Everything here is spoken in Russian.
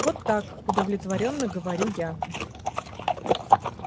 вот так удовлетворённо говорю я